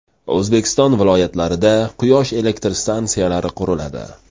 O‘zbekiston viloyatlarida quyosh elektr stansiyalari quriladi.